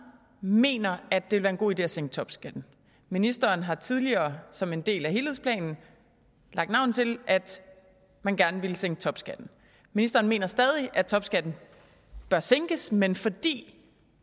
mener at det vil være en god idé at sænke topskatten ministeren har tidligere som en del af helhedsplanen lagt navn til at man gerne ville sænke topskatten ministeren mener stadig at topskatten bør sænkes men fordi